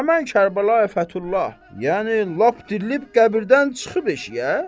Həmin Kərbəlayı Fəthullah, yəni lap dirilib qəbirdən çıxıb eşiyə.